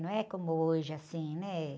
Não é como hoje, assim, né?